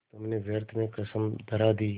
तुमने व्यर्थ में कसम धरा दी